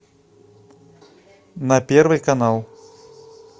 на первый канал